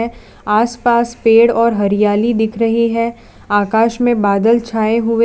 आसपास पेड़ और हरियाली दिख रही है आकाश में बादल छाए हुए--